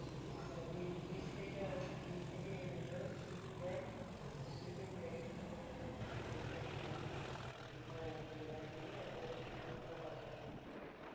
নিজ থেকে নিয়ে যেতে হয় sleeping bag ওই sleeping bag এর ভেতরে শুনলাম ওই bag আর কি বানিয়ে নিয়ে